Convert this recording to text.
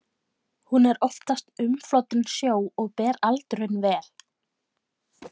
Hún er oftast umflotin sjó og ber aldurinn vel.